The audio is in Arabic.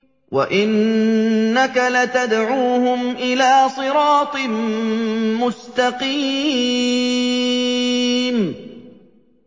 وَإِنَّكَ لَتَدْعُوهُمْ إِلَىٰ صِرَاطٍ مُّسْتَقِيمٍ